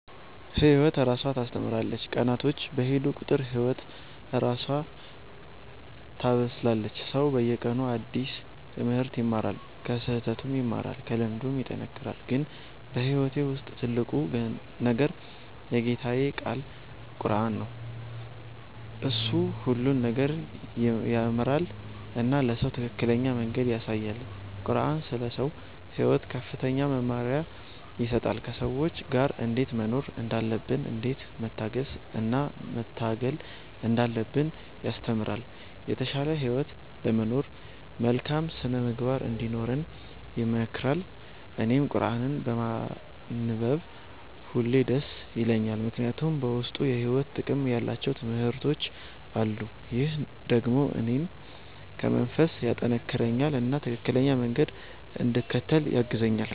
ህይወት እራሷ ታስተምራለች፤ ቀናቶች በሄዱ ቁጥር ህይወት እራሷ ታበስላለች። ሰው በየቀኑ አዲስ ትምህርት ይማራል፣ ከስህተቱም ይማራል፣ ከልምዱም ይጠናከራል። ግን በህይወቴ ውስጥ ትልቁ ነገር የጌታዬ ቃል ቁረአን ነው። እሱ ሁሉን ነገር ይመራል እና ለሰው ትክክለኛ መንገድ ያሳያል። ቁረአን ስለ ሰው ሕይወት ከፍተኛ መመሪያ ይሰጣል፤ ከሰዎች ጋር እንዴት መኖር እንዳለብን፣ እንዴት መታገስ እና መታገል እንዳለብን ያስተምራል። የተሻለ ህይወት ለመኖር መልካም ሥነ-ምግባር እንዲኖረን ይመክራል። እኔም ቁረአንን በማንበብ ሁሌ ደስ ይለኛል፣ ምክንያቱም በውስጡ የሕይወት ጥቅም ያላቸው ትምህርቶች አሉ። ይህ ደግሞ እኔን በመንፈስ ያጠናክረኛል እና ትክክለኛ መንገድ እንድከተል ያግዛኛል።